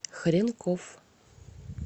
хренков